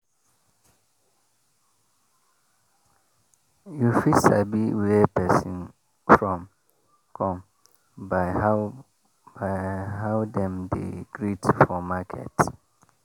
you fit sabi where persin from come by how by how dem dey greet for market.